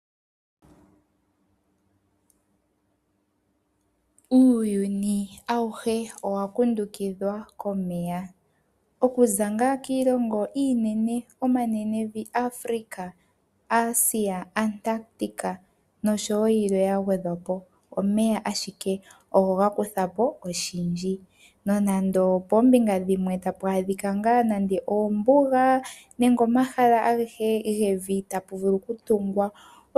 Uuyuni awuhe owa kundukidhwa komeya. Okuza ngaa kiilongo iinene omanenevi ngaashi Afrika, Asia, Antlactica noshowo yilwe ya gwedhwa po, omeya ashike ogo ga kutha po oshindji nonando poombinga dhimwe tapu adhika ngaa nando oombuga nenge omahala agehe gevi tapu vulu okutungwa.